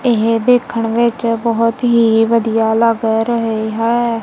ਏਹ ਦੇਖਣ ਵਿੱਚ ਬੋਹੁਤ ਹੀ ਵਧੀਆ ਲੱਗ ਰਹੇ ਹੈਂ।